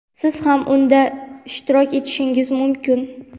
siz ham unda ishtirok etishingiz mumkin.